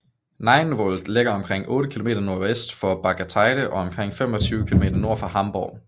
Nienwohld ligger omkring otte kilometer nordvest for Bargteheide og omkring 25 km nord for Hamborg